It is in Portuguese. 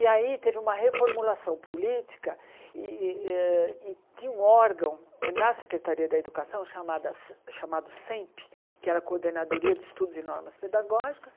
E aí teve uma reformulação política e e eh tinha um órgão na Secretaria da Educação chamado Semp, que era a Coordenadoria de Estudos e Normas Pedagógicas.